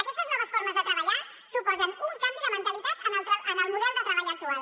aquestes noves formes de treballar suposen un canvi de mentalitat en el model de treball actual